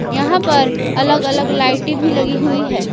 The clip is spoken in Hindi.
यहां पर अलग अलग लाइटें भी लगी हुई है।